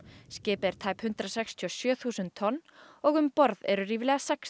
skipið er tæp hundrað sextíu og sjö þúsund tonn og um borð eru ríflega sex